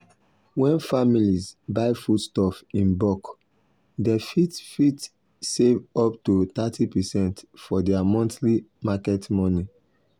when families buy foodstuff in bulk dem fit fit save up to thirty percent for their monthly market money.